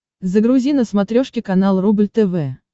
загрузи на смотрешке канал рубль тв